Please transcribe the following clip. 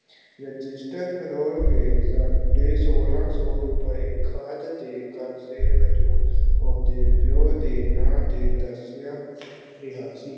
Register ਫਰੋਲ ਕੇ ਸਾਢੇ ਸੋਲਾਂ ਸੌ ਰੁਪਏ ਖ਼ਾਦ ਦੇ ਕਰਜ਼ੇ ਵਜੋਂ ਉਹਦੇ ਪਿਉ ਦੇ ਨਾਂ ਤੇ ਦੱਸਿਆ ਰਿਹਾ ਸੀ।